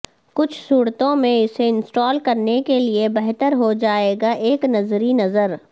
کچھ صورتوں میں اسے انسٹال کرنے کے لئے بہتر ہو جائے گا ایک نظری نظر